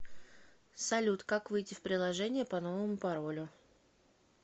салют как выйти в приложение по новому паролю